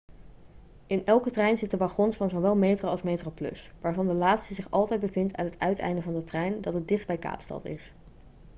in elke trein zitten wagons van zowel metro als metroplus waarvan de laatste zich altijd bevindt aan het uiteinde van de trein dat het dichtst bij kaapstad is